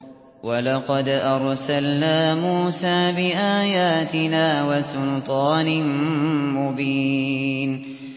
وَلَقَدْ أَرْسَلْنَا مُوسَىٰ بِآيَاتِنَا وَسُلْطَانٍ مُّبِينٍ